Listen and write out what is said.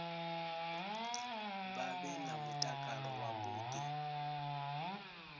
vha vhe na mutakalo wavhuḓi